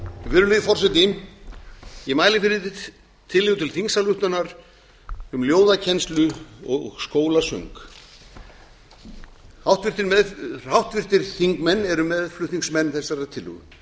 virðulegi forseti ég mæli fyrir tillögu til þingsályktunar um ljóðakennslu og skólasöng háttvirtir þingmenn eru meðflutningsmenn þessarar tillögu